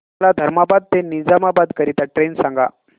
मला धर्माबाद ते निजामाबाद करीता ट्रेन सांगा